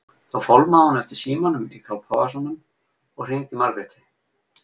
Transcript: Þá fálmaði hún eftir símanum í kápuvasanum og hringdi í Margréti.